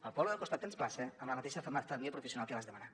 al poble del costat tens plaça amb la mateixa família professional que vas demanar